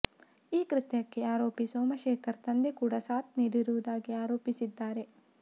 ಈ ಕೃತ್ಯಕ್ಕೆ ಆರೋಪಿ ಸೋಮಶೇಖರ್ ತಂದೆ ಕೂಡ ಸಾಥ್ ನೀಡಿರುವುದಾಗಿ ಆರೋಪಿಸಿದ್ದಾರೆ